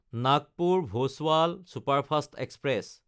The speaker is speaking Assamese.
নাগপুৰ–ভোচাৱাল ছুপাৰফাষ্ট এক্সপ্ৰেছ